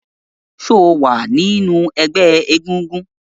ṣe o wá nínú egbé egúngún?